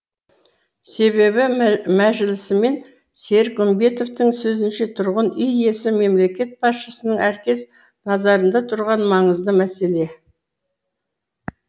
себебі мәжілісмен серік үмбетовтің сөзінше тұрғын үй ісі мемлекет басшысының әркез назарында тұрған маңызды мәселе